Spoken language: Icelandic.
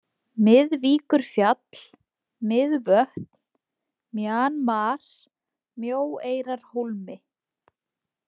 Miðvíkurfjall, Miðvötn, Mjanmar, Mjóeyjarhólmi